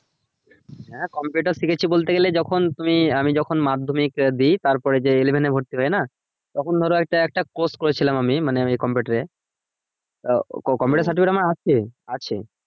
হ্যাঁ computer শিখেছি বলতে গেলে যখন তুমি আমি যখন মাধ্যম দেই তারপরে যে ভর্তি হয় না তখন ধরো আরকি একটা course করেছিলাম আমি মানে computer এ আহ computer ceretificate আমার আছে আছে